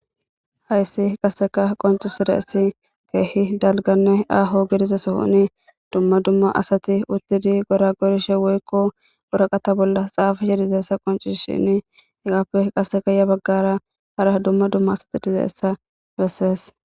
Hayssi qaseka qonccisidayssi keehi dalgganne aaho gidiza sohoni dumma dumma asati uttidi goragorishe woyko waraqata bolla xaafishe dizayssa qonccisishini hegappe qaseka ya baggara hara dumma dumma asati dizayssa besees.